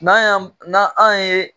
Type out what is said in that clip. N'an y'an na anw ye